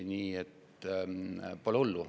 Nii et pole hullu.